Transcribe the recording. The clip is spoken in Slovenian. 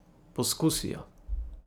Poskusijo.